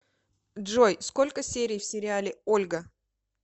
джой сколько серий в сериале ольга